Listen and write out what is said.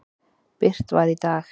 birt var í dag.